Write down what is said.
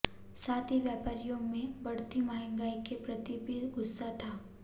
साथ ही व्यापारियों में बढ़ती महंगाई के प्रति भी गुस्सा था